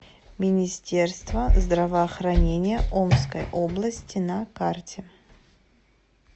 министерство здравоохранения омской области на карте